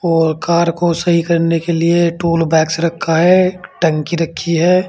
और कार को सही करने के लिए टूल बैक्स रखा है टंकी रखी है।